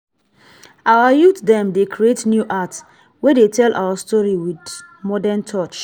our youth dem dey create new art wey dey tell our story wit modern touch.